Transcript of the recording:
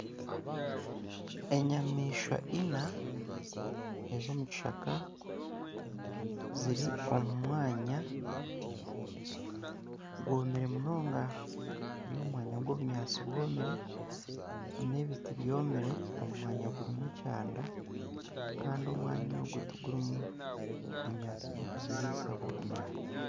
Enyamaishwa ina ez'omu kishaka ziri omu mwanya gwomire munonga ziri omu mwanya gw'obunyaatsi bwomire n'ebiti byomire omu mwanya gurimu ekyanda kandi omwanya ogu tigurimu bunyaatsi bw'okuziriisa burikumara.